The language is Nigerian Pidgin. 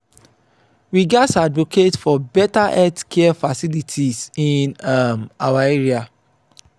we gatz advocate for better healthcare facilities in um our area.